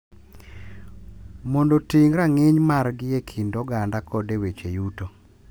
Mondo oting’ rang’iny margi e kind oganda kod e weche yuto.